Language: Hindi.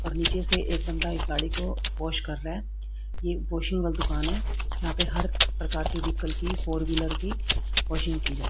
नीचे से एक बंदा इस गाड़ी को वाश कर रहा है यह वाशिंग का दुकान है यहां पे हर प्रकार के व्हीकल की फॉर व्हीलर की वाशिंग की जाती है।